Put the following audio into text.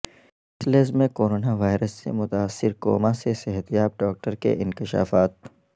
برسلزمیں corona virus سے متاثر کوما سے صحتیاب ڈاکٹر کے انکشافات